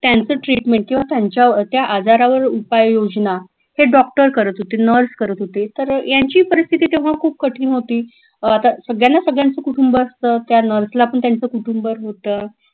त्यांचं treatment किंवा त्यांच्या त्या आजारावर उपाययोजना हे doctor करत होते nurse करत होते तर यांची परिस्थिती तेव्हा खूप कठीण होती अं आता सगळ्यांना सगळ्यांचं कुटुंब असत त्या nurse ला पण त्यांचं कुटुंब होत